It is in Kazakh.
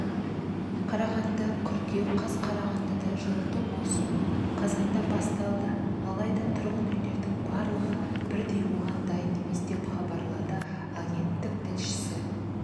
қарағанды қыркүйек қаз қарағандыда жылыту маусымы қазанда басталады алайда тұрғын үйлердің барлығы бірдей оған дайын емес деп хабарлады агенттік тілшісі